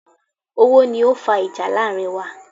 Owó ni o fa ìjà láàrin wa